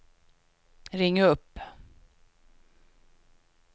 ring upp